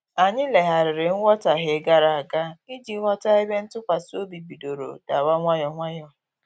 Anyị legharịrị nwutaghie gara aga iji ghọta ebe ntụkwasị obi bidoro dawa nwayọ nwayọ